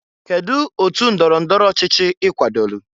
kedụ otu ndọrọ ndọrọ ọchịchị i kwadolu?